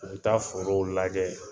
U bɛ taa forow lajɛ.